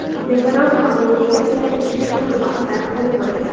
Belarus Oliy Ligasida ikkita tur bahslari bo‘lib o‘tadi.